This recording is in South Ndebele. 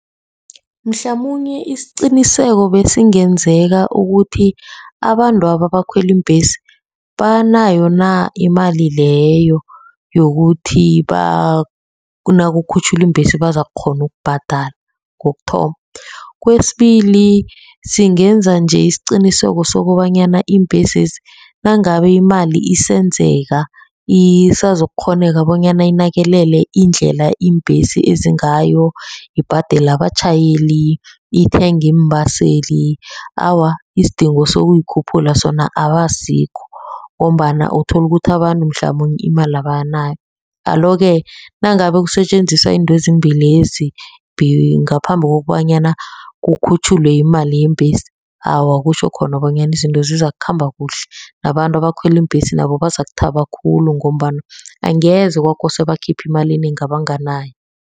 Mhlamunye isiqiniseko besingenzeka ukuthi abantwaba abakhwela iimbhesi banayo na imali leyo, yokuthi nakukhutjhulwa iimbhesi bazakukghona ukubhadala kokuthoma. Kwesibili, singenza nje isiqiniseko sokobanyana iimbhesezi nangabe imali isenzeka isazokukghoneka bonyana inakekele indlela iimbhesi ezingayo, ibhadela abatjhayeli, ithenge iimbaseli. Awa, isidingo sokuyikhuphula sona abasikho, ngombana uthola ukuthi abantu mhlamunye imali abanayo. Alo-ke nangabe kusetjenziswa izinto ezimbilezi ngaphambi kobanyana kukhutjhulwe imali yeembhesi, awa kutjho khona bonyana izinto zizakhamba kuhle. Nabantu abakhwela iimbhesi nabo bazakuthaba khulu, ngombana angeze kwakosa bakhiphe imali enengi abanganayo.